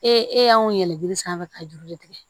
Ee e y'anw yɛlɛ jiri sanfɛ ka juru de tigɛ